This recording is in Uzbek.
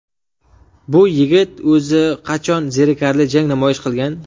Bu yigit o‘zi qachon zerikarli jang namoyish qilgan?